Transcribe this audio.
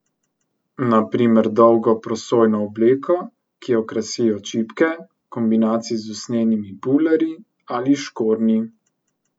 Na primer dolgo prosojno obleko, ki jo krasijo čipke, v kombinaciji z usnjenimi bulerji ali škornji.